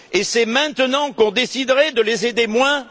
Et c'est maintenant qu'on déciderait de les aider moins?